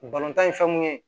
tan ye fɛn mun ye